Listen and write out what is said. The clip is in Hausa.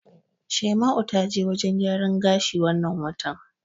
Shaima'u ta je wajen gyaran gashi wannan watan.